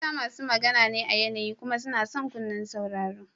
Mata masu magana ne a yanayi kuma suna son kunnen sauraro.